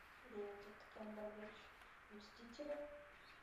бенедикт камбербэтч мстители